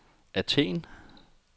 Athen